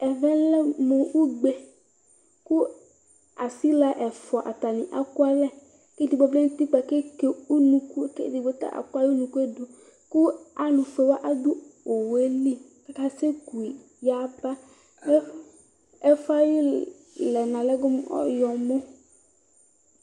Ɛvɛ lɛ mʋ ugbe kʋ asila ɛfʋa ekualɛ kʋ edigbo vlɛ nʋ ʋtikpa eke ʋnʋkʋ kʋ edigbo ta akɔ ayʋ ʋnʋkʋe dʋ kʋ alʋfuewa dʋ owʋeli kʋ asekʋyi yaba ɛfʋ ye ayʋ alɛna lɛ go mʋ oyɔmɔ